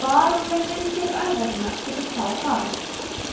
varanleg viðgerð æðarinnar getur þá hafist